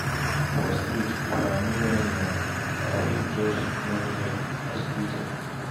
For street, if I no wan yarn, I fit just nod as greeting.